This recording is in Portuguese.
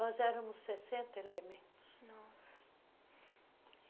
Nós éramos sessenta elementos. nossa